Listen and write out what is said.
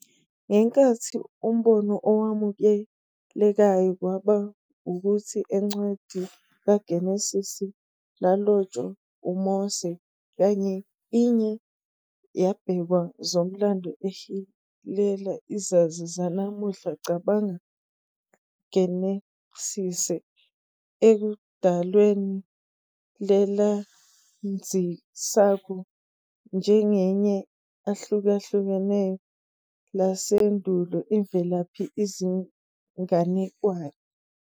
Ngenkathi umbono owamukelekayo kwaba ukuthi Encwadi KaGenesise lalotshwa uMose kanye iye yabhekwa zomlando ehilela izazi zanamuhla cabanga Genesise ekudalweni lelandzisako njengenye ahlukahlukene lasendulo imvelaphi izinganekwane.